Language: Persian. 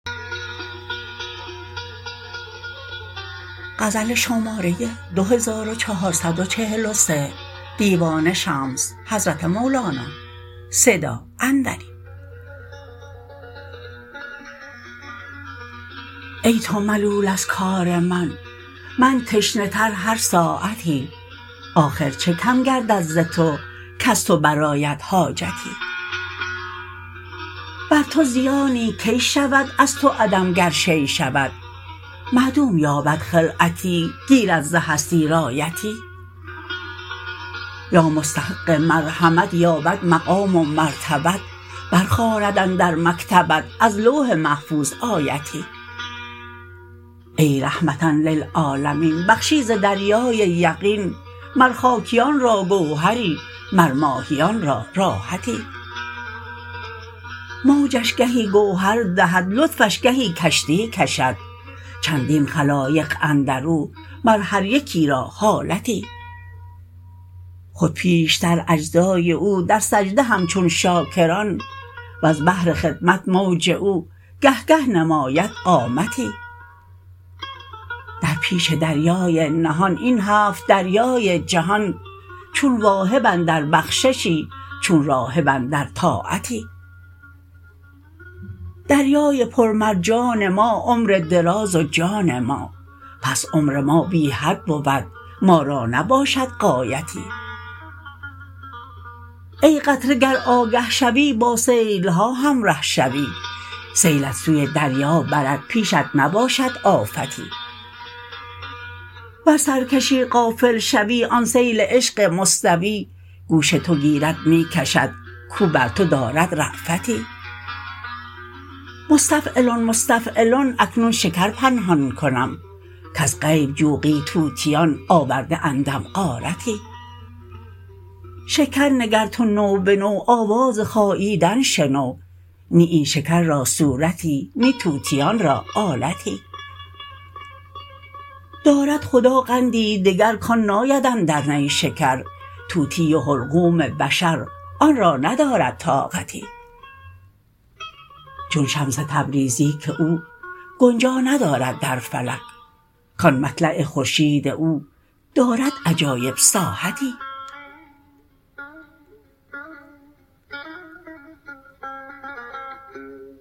ای تو ملول از کار من من تشنه تر هر ساعتی آخر چه کم گردد ز تو کز تو برآید حاجتی بر تو زیانی کی شود از تو عدم گر شیء شود معدوم یابد خلعتی گیرد ز هستی رایتی یا مستحق مرحمت یابد مقام و مرتبت برخواند اندر مکتبت از لوح محفوظ آیتی ای رحمة للعالمین بخشی ز دریای یقین مر خاکیان را گوهر ی مر ماهیان را راحتی موجش گهی گوهر دهد لطفش گهی کشتی کشد چندین خلایق اندر او مر هر یکی را حالتی خود پیشتر اجزا ی او در سجده همچون شاکر ان وز بهر خدمت موج او گه گه نماید قامتی در پیش دریای نهان این هفت دریای جهان چون واهب اندر بخششی چون راهب اندر طاعتی دریای پر مرجان ما عمر دراز و جان ما پس عمر ما بی حد بود ما را نباشد غایتی ای قطره گر آگه شوی با سیل ها همره شوی سیلت سوی دریا برد پیشت نباشد آفتی ور سرکشی غافل شوی آن سیل عشق مستوی گوش تو گیرد می کشد کاو بر تو دارد رافتی مستفعلن مستفعلن اکنون شکر پنهان کنم کز غیب جوقی طوطیان آورده اندم غارتی شکر نگر تو نو به نو آواز خاییدن شنو نی این شکر را صورتی نی طوطیان را آلتی دارد خدا قندی دگر کان ناید اندر نیشکر طوطی و حلقوم بشر آن را ندارد طاقتی چون شمس تبریزی که او گنجا ندارد در فلک کان مطلع خورشید او دارد عجایب ساحتی